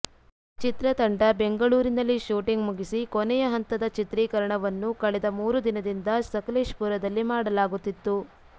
ಚಿತ್ರತಂಡ ಬೆಂಗಳೂರಿನಲ್ಲಿ ಶೂಟಿಂಗ್ ಮುಗಿಸಿ ಕೊನೆಯ ಹಂತದ ಚಿತ್ರೀಕರಣವನ್ನು ಕಳೆದ ಮೂರು ದಿನದಿಂದ ಸಕಲೇಶಪುರದಲ್ಲಿ ಮಾಡಲಾಗುತ್ತಿತ್ತು